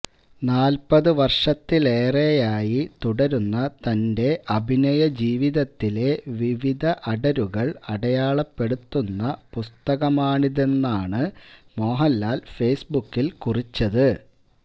നാല്പ്പത് വര്ഷത്തിലേറെയായി തുടരുന്ന തന്റെ അഭിനയജീവിതത്തിലെ വിവിധ അടരുകള് അടയാളപ്പെടുത്തുന്ന പുസ്തകമാണിതെന്നാണ് മോഹന്ലാല് ഫെയ്സ്ബുക്കില് കുറിച്ചത്